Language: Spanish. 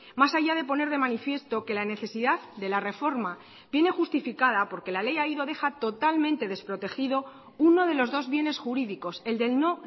más allá de poner de manifiesto que la necesidad de la reforma viene justificada porque la ley ahí lo deja totalmente desprotegido uno de los dos bienes jurídicos el del no